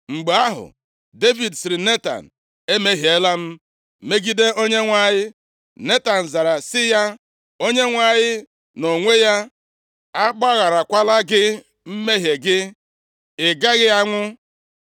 Mgbe ahụ, Devid sịrị Netan, “Emehiela m megide Onyenwe anyị.” Netan zara sị ya, “ Onyenwe anyị nʼonwe ya agbagharakwala gị mmehie gị, ị gaghị anwụ.